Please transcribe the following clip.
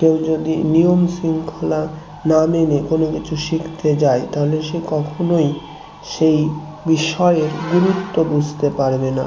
কেউ যদি নিয়ম শৃঙ্খলা না মেনে কোন কিছু শিখতে যায় তাহলে সে কখনোই সেই বিষয়ে গুরুত্ব বুঝতে পারবে না